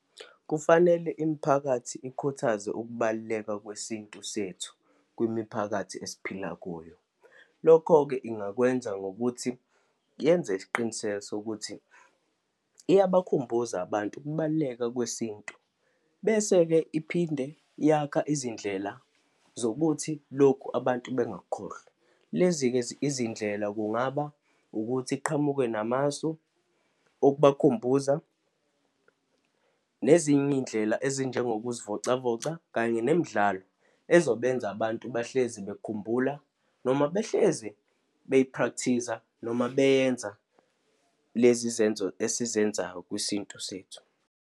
Kufanele imiphakathi ikhuthaze ukubaluleka kwesintu sethu kwimiphakathi esiphila kuyo. Lokho-ke ingakwenza ngokuthi yenze isiqiniseko sokuthi iyabakhumbuza abantu ukubaluleka kwesintu. Bese-ke iphinde yakha izindlela zokuthi lokhu abantu bengakukhohlwa. Lezi-ke izindlela kungaba ukuthi iqhamuke namasu okubakhumbuza, nezinye iy'ndlela ezinjengokuzivocavoca, kanye nemidlalo ezobenza abantu bahlezi bekhumbula noma behleze beyiphrakthiza noma beyenza lezi zenzo esizenzayo kwisintu sethu.